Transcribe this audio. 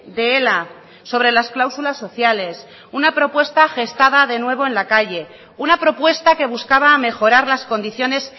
de ela sobre las cláusulas sociales una propuesta gestada de nuevo en la calle una propuesta que buscaba mejorar las condiciones